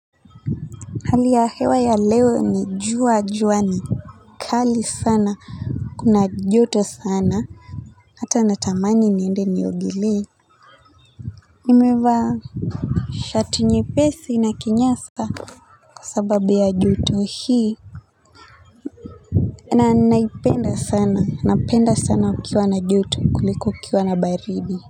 Hali ya hewa ya leo ni jua juani. Kali sana, kuna joto sana. Hata natamani niende niogele nimevaa shati nyepesi na kinyasa kwa sababu ya joto hii. Na naipenda sana, napenda sana kukiwa na joto kuliko kukiwa na baridi.